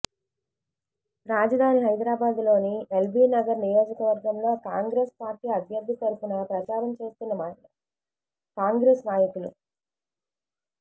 రాజధాని హైదరాబాదులోని ఎల్బీ నగర్ నియోజకవర్గంలో కాంగ్రెసు పార్టీ అభ్యర్థి తరఫున ప్రచారం చేస్తున్న మహిళా కాంగ్రెసు నాయకులు